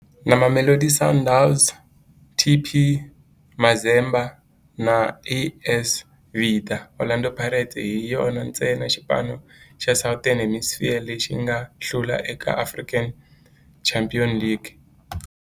Na Mamelodi Sundowns, TP Mazembe na AS Vita, Orlando Pirates hi yona ntsena xipano xa Southern Hemisphere lexi nga hlula eka African Champions League.